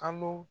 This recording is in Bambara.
Kalo